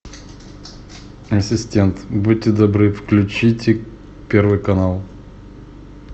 ассистент будьте добры включите первый канал